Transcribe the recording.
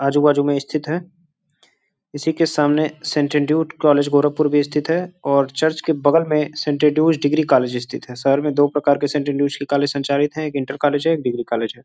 आजू-बाजू में स्थित है। इसी के सामने सेंट एंड्यूट कॉलेज गोरखपुर भी स्थित है और चर्च के बगल में सेंट एंड्रूज डिग्री कॉलेज स्थित है। शहर में दो प्रकार के सेंट एंड्रूज की कॉलेज संचारित है एक इंटर कॉलेज है एक डिग्री कॉलेज है।